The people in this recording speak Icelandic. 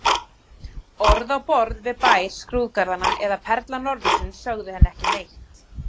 Orð á borð við Bær skrúðgarðanna eða Perla norðursins sögðu henni ekki neitt.